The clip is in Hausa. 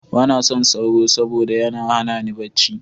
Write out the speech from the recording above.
Ba na son sauro, saboda da yana hana ni barci.